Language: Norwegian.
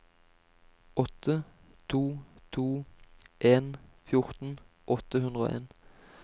åtte to to en fjorten åtte hundre og en